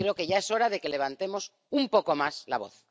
Y creo que ya es hora de que levantemos un poco más la voz.